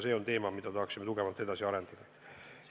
See on teema, mida tahaksime tugevalt edasi arendada.